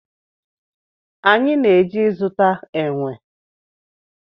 Anyị na-eje zụta enwe